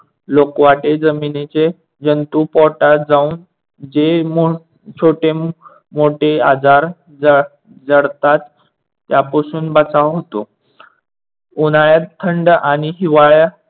लोकवाटे जमिनीचे जंतु पोटात जाऊन जे मोठ छोटे मोठे आजार जडतात त्यापासून बचाव होतो. उन्हाळ्यात थंड आणि हिवाळ्या